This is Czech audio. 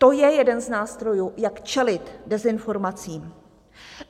To je jeden z nástrojů, jak čelit dezinformacím.